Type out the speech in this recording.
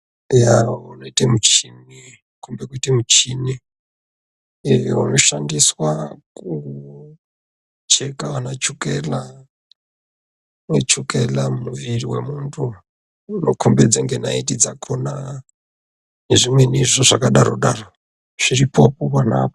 Eya inoit muchini, inokombe kuite michini iyo inoshandiswa kucheka vanachokela. Chokela mumwiri memuntu zvinokombidza ngenaiti dzakona nezvimweni izvo zvakadaro-daro, zviripo ponaapo.